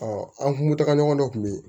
an kun tagaɲɔgɔn dɔ kun bɛ yen